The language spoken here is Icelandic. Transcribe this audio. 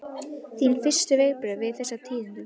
Þín fyrstu viðbrögð við þessum tíðindum?